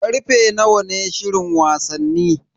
Karfe nawa ne shirin wasanni?